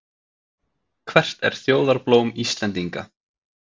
Hvert er þjóðarblóm Íslendinga?